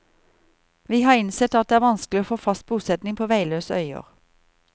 Vi har innsett at det er vanskelig å få fast bosetning på veiløse øyer.